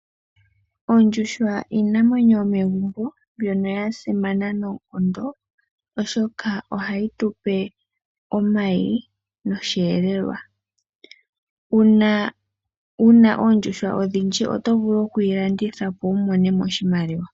Oondjuhwa iinamwenyo yomegumbo mbyono ya simana noonkondo oshoka ohayi tu pe omayi nosheelelwa. Uuna wuna oondjuhwa odhindji oto vulu okdhi landitha opo wu mone mo oshimaliwa.